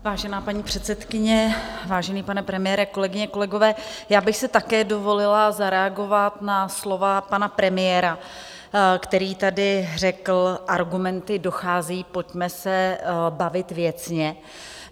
Vážená paní předsedkyně, vážený pane premiére, kolegyně, kolegové, já bych si také dovolila zareagovat na slova pana premiéra, který tady řekl: Argumenty docházejí, pojďme se bavit věcně.